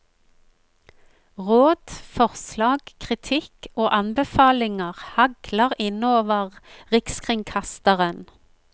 Råd, forslag, kritikk og anbefalinger hagler inn over rikskringkasteren.